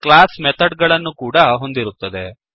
class method ಗಳನ್ನು ಕೂಡ ಹೊಂದಿರುತ್ತದೆ